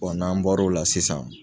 n'an bɔra o la sisan.